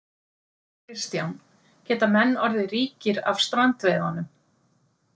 Kristján: Geta menn orðið ríkir af strandveiðunum?